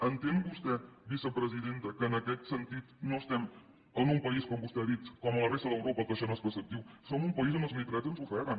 entén vostè vicepresidenta que en aquest sentit no estem en un país com vostè ha dit com la resta d’europa que això no és preceptiu som un país on els nitrats ens ofeguen